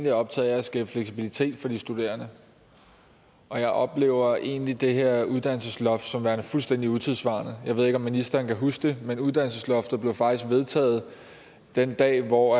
er optaget af at skabe fleksibilitet for de studerende og jeg oplever egentlig det her uddannelsesloft som værende fuldstændig utidssvarende jeg ved ikke om ministeren kan huske det men uddannelsesloftet blev faktisk vedtaget den dag hvor